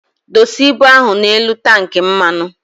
Dosa ibụ ahụ na enu tank mmanu!